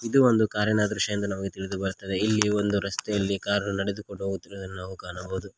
ಇದು ಒಂದು ಕಾರಿನ ದೃಶ್ಯ ಎಂದು ನಮಗೆ ತಿಳಿದು ಬರುತ್ತದೆ ಇಲ್ಲಿ ಒಂದು ರಸ್ತೆಯಲ್ಲಿ ಕಾರು ನೆಡೆದುಕೊಂಡು ಹೋಗುತ್ತಿರುವುದನ್ನು ನಾವು ಕಾಣಬಹುದು.